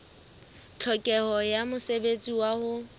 tlhokeho ya mosebetsi wa ho